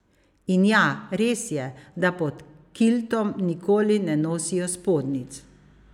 In ja, res je, da pod kiltom nikoli ne nosijo spodnjic.